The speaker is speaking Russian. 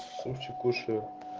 супчик кушаю